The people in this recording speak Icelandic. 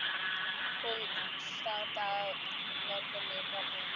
Hún státaði af mörgum íkonum.